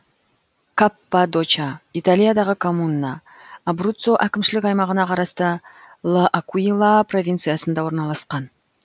каппадоча италиядағы коммуна абруццо әкімшілік аймағына қарасты л акуила провинциясында орналасқан